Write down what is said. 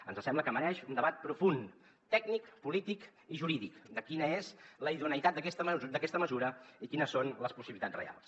ens sembla que mereix un debat profund tècnic polític i jurídic de quina és la idoneïtat d’aquesta mesura i quines són les possibilitats reals